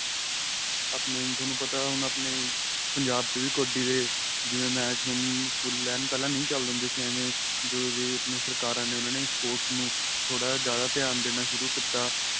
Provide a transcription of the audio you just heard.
ਆਪਣੇਂ ਤੁਹਾਨੂੰ ਪਤਾ ਹੁਣ ਆਪਣੇਂ ਪੰਜਾਬ ਵੀ ਕੱਬਡੀ ਦੇ ਜਿਵੇਂ match ਹੁਣ full ਏਨ ਪਹਿਲਾਂ ਨਹੀਂ ਨਹੀਂ ਚੱਲਦੇ ਹੁੰਦੇ ਸੀ ਐਵੇ ਜਦੋ ਦੀਆ ਆਪਣੀਆ ਸਰਕਾਰਾਂ ਨੇ ਉਹਨਾ ਨੇ sports ਨੂੰ ਥੋੜਾ ਜਾਂ ਜਿਆਦਾ ਧਿਆਨ ਦੇਣਾ ਸ਼ੁਰੂ ਕੀਤਾ